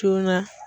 Joona